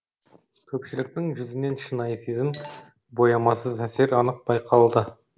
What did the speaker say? көпшіліктің жүзінен шынайы сезім боямасыз әсер анық байқалды